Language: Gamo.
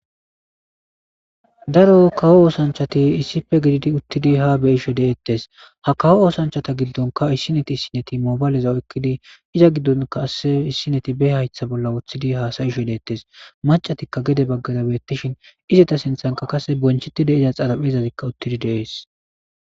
Daro kawo oosanchchathi issippe gididi uththidi haa be7ishe de7eeththees; ha kawo oosanchchatha gidonkka issinni issinnithi moobaleza ooqqidi iza giddonkka qassi issinnethi be7aythe bolla uththidi haasayishe de7eeththees; maccathikka gede baggaara beeththishin izeta sinthankka qassi bonchethide xarapheezathi uththidi de7ees.